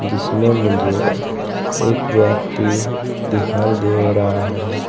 जिसमें मुझे एक व्यक्ति दिखाई दे रहा है।